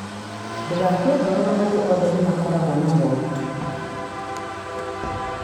Ndũgakue ngoro, andũ othe nĩ makoragwo na moritũ.